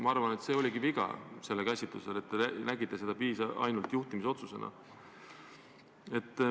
Ma arvan, et see oligi juhtumi käsitlemisel tehtud viga, et te nägite seda ainult juhtimisotsusena.